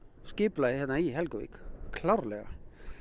skipulagið hérna í Helguvik klárlega